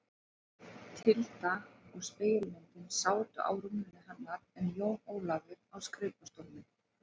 Tilda og spegilmyndin sátu á rúminu hennar en Jón Ólafur á skrifborðsstólnum.